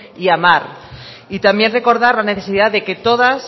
y amar y también recordar la necesidad de que todas